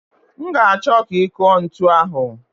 M ga-achọ ka ị kụọ ntu ahụ.